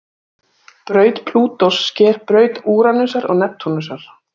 Braut Plútós sker braut Úranusar og Neptúnusar.